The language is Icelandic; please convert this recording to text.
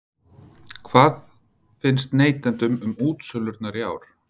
En hvað finnst neytendum um útsölurnar í ár?